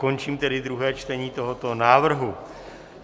Končím tedy druhé čtení tohoto návrhu.